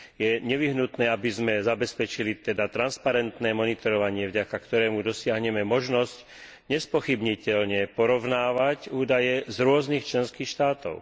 Je teda nevyhnutné, aby sme zabezpečili transparentné monitorovanie, vďaka ktorému dosiahneme možnosť nespochybniteľne porovnávať údaje z rôznych členských štátov.